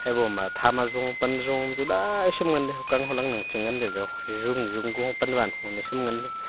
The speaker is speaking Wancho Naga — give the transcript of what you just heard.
ebo ma tham azo pan zo naichem ngan ley hokan holang nang che ngan ley ley hujun hujun panwan naichen ngan ley.